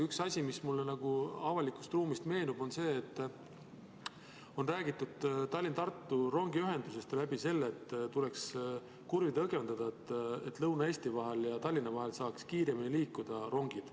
Üks asi, mis mulle avalikust ruumist meenub, on see, et on räägitud Tallinna–Tartu rongiühendusest, et tuleks kurve õgvendada, et Lõuna-Eesti ja Tallinna vahel saaks rongid kiiremini liikuda.